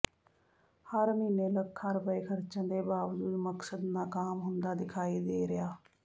ਹਰ ਮਹੀਨੇ ਲੱਖਾਂ ਰੁਪਏ ਖਰਚਣ ਦੇ ਬਾਵਜੂਦ ਮਕਸਦ ਨਾਕਾਮ ਹੁੰਦਾ ਦਿਖਾਈ ਦੇ ਰਿਹਾ